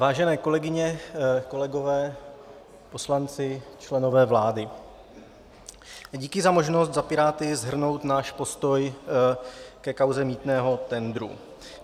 Vážené kolegyně, kolegové, poslanci, členové vlády, díky za možnost za Piráty shrnout náš postoj ke kauze mýtného tendru.